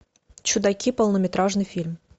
чудаки полнометражный фильм